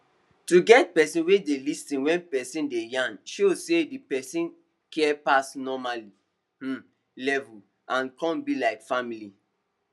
to get person wey dey lis ten wen person dey yarn show say the person care pass normal um level and come be like family